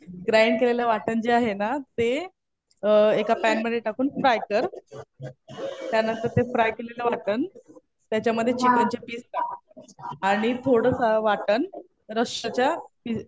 Grind केलेलं वाटण जे आहे ना ते एका पॅन मध्ये टाकून फ्राय कर. त्यानंतर ते फ्राय केलेलं वाटण त्याच्यामध्ये चिकनचे पीस टाक. आणि थोडंसं वाटण रस्साच्या हि